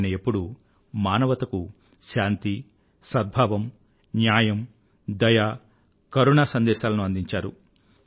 ఆయన ఎప్పుడూ మానవతకు శాంతి సద్భావము న్యాయముదయ కరుణ సందేశాలను అందించారు